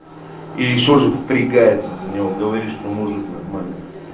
и ещё же впрягается за него говоришь что может нормально